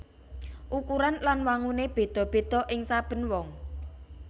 Ukuran lan wanguné béda béda ing saben wong